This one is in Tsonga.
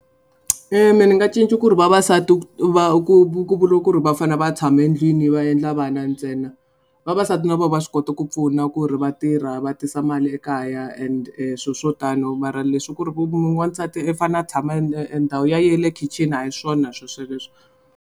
Me ni nga cinca ku ri vavasati ku va ku ku vula ku ri va fanele va tshame ndlwini va endla vana ntsena vavasati na vona va swi kota ku pfuna ku ri va tirha va tisa mali ekaya and sweswo tano mara leswi ku ri ku wansati i fanele a tshama e ndhawu ya ye yi le khixini a hi swona sweleswo.